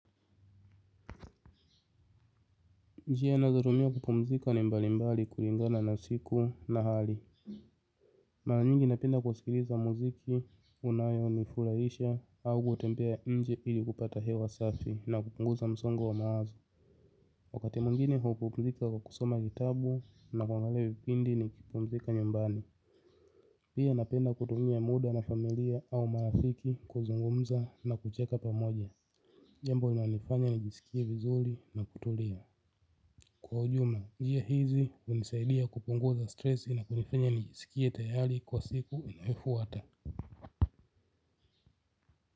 Njia nazotumia kupumzika ni mbali mbali kulingana na siku na hali. Mara nyingi napenda kwa sikiliza muziki unayonifurahisha au kutembea nje ili kupata hewa safi na kupunguza msongo wa mawazo. Wakati mwingine hupumzika kwa kusoma kitabu na kuangalia vipindi nikipumzika nyumbani. Pia napenda kutumia muda na familia au marafiki kuzungumza na kucheka pamoja. Jambo linalonifanya nijisikie vizuri na kutulia. Nguo za stresi na kunifanya nijisikie tayari kwa siku inayofuata.